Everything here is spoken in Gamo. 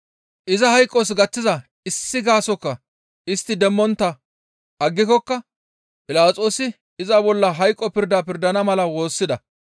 Iza hayqos gaththiza issi gaasokka istti demmontta aggikokka Philaxoosi iza bolla hayqo pirda pirdana mala woossida.